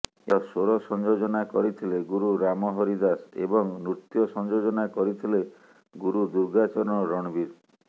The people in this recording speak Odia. ଏହାର ସ୍ୱର ସଂଯୋଜନା କରିଥିଲେ ଗୁରୁ ରାମହରି ଦାସ ଏବଂ ନୃତ୍ୟ ସଂଯୋଜନା କରିଥିଲେ ଗୁରୁ ଦୁର୍ଗାଚରଣ ରଣବୀର